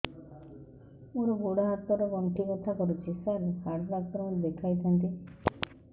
ମୋର ଗୋଡ ହାତ ର ଗଣ୍ଠି ବଥା କରୁଛି ସାର ହାଡ଼ ଡାକ୍ତର ଙ୍କୁ ଦେଖାଇ ଥାନ୍ତି